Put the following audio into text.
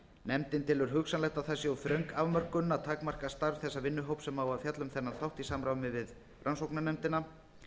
nefndin telur hugsanlegt að það sé of þröng afmörkun að takmarka starf þess vinnuhóps sem á að fjalla um þennan þátt í samráði við rannsóknarnefndina